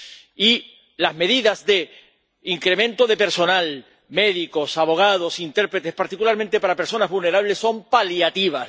Y las medidas de incremento de personal —médicos, abogados, intérpretes—, particularmente para personas vulnerables, son paliativas.